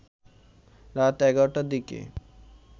রাত ১১ টার দিকে